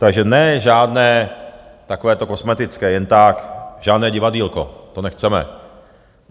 Takže ne žádné takovéto kosmetické, jen tak, žádné divadýlko, to nechceme.